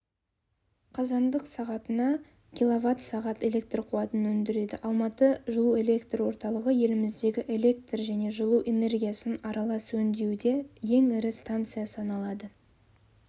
қазандық сағатына квсағат электр қуатын өндіреді алматы жылу-электр орталығы еліміздегі электр және жылу энергиясын аралас өндіруде ең ірі станция саналады